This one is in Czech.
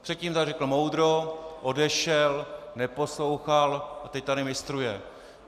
Předtím tady řekl moudro, odešel, neposlouchal - a teď tady mistruje.